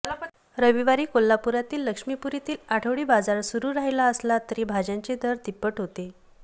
रविवारी कोल्हापुरातील लक्ष्मीपुरीतील आठवडी बाजार सुरू राहिला असला तरी भाज्यांचे दर तिप्पट होते